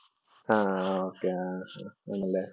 ആഹ് ok ആണല്ലേ.